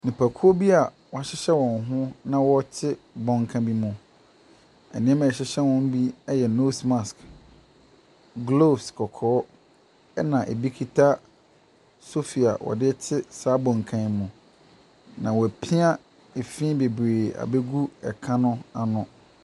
Nipakuo bi a wɔahyehyɛ wɔn ho na wɔte bɔnka bi mu. Nneɛma a ɛhyehyɛ wɔn bi yɛ nose mask, gloves kɔkɔɔ, ɛna ɛbi kita sofi a wɔde rete saa bɔnka no mu. Na wɔapia efi bebree abɛgu ɛka no ano.